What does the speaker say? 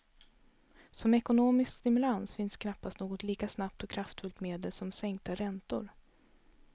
Som ekonomisk stimulans finns knappast något lika snabbt och kraftfullt medel som sänkta räntor.